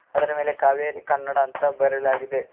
ಅದರ ಮೇಲೆ ಕಾವೇರಿ ಕನ್ನಡ ಅಂತ ಬರೆಯಲಾಗಿದೆ.